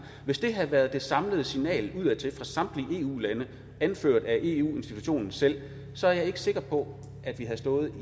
hvis det havde været det samlede signal udadtil fra samtlige eu lande anført af eu institutionen selv så er jeg ikke sikker på at vi havde stået